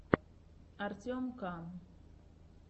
артем к